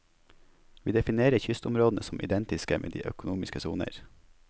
Vi definerer kystområdene som identiske med de økonomiske soner.